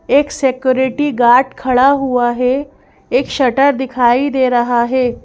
एक security guard खड़ा हुआ है एक शटर दिखाई दे रहा है।